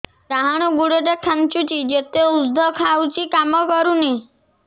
ଡାହାଣ ଗୁଡ଼ ଟା ଖାନ୍ଚୁଚି ଯେତେ ଉଷ୍ଧ ଖାଉଛି କାମ କରୁନି